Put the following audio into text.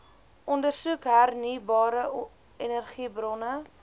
ondersoek hernieubare energiebronne